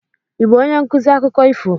Ị bụ onye nkuzi akụkọ ifo?